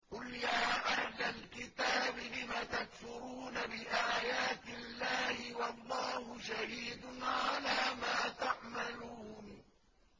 قُلْ يَا أَهْلَ الْكِتَابِ لِمَ تَكْفُرُونَ بِآيَاتِ اللَّهِ وَاللَّهُ شَهِيدٌ عَلَىٰ مَا تَعْمَلُونَ